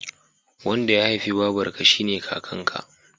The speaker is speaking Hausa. Wanda ya haifi babarka shine kakan ka